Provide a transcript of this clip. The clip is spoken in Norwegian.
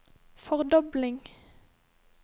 fordobling